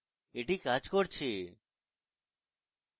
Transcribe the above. মূল the হল the কাজ করছে